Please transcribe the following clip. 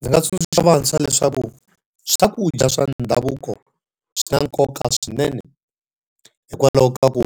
Ndzi nga tsundzuxa vantshwa leswaku swakudya swa ndhavuko swi na nkoka swinene. Hikwalaho ka ku